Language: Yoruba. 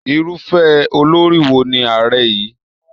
Irufẹ olori wo ni Ààrẹ yín?